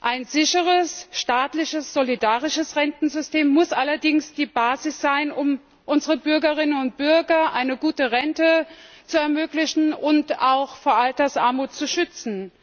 Ein sicheres, staatliches und solidarisches Rentensystem muss allerdings die Basis sein, um unseren Bürgerinnen und Bürgern eine gute Rente zu ermöglichen und sie auch vor Altersarmut zu schützen.